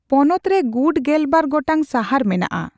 ᱯᱚᱱᱚᱛ ᱨᱮ ᱜᱩᱴ ᱜᱮᱞᱵᱟᱨ ᱜᱚᱴᱟᱝ ᱥᱟᱦᱟᱨ ᱢᱮᱱᱟᱜᱼᱟ ᱾